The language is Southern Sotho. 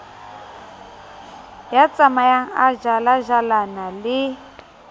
ya tsamayang a jalajalana le